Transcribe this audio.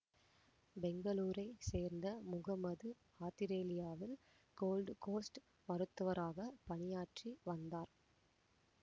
பெங்களூரை சேர்ந்த முகம்மது ஆத்திரேலியாவில் Gold Coast மருத்துவராக பணியாற்றி வந்தார்